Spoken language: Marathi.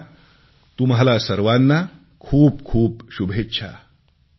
माझ्या तुम्हाला सर्वांना खूप खूप शुभेच्छा